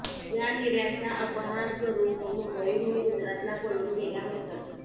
या हिर्यांचा अपहार करुन तो मुंबईतून गुजरातला पळून गेला होता